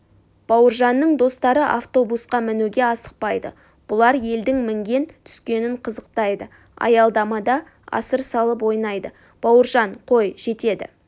бауыржанның достары автобусқа мінуге асықпайды бұлар елдің мінген-түскенін қызықтайды аялдамада асыр салып ойнайды бауыржан қой жетеді